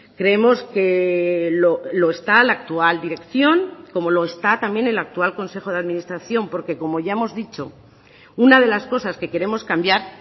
creemos que lo está la actual dirección como lo está también el actual consejo de administración porque como ya hemos dicho una de las cosas que queremos cambiar